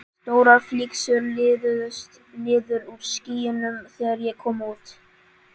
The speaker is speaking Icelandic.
Stórar flygsur liðuðust niður úr skýjunum þegar ég kom út.